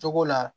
Cogo la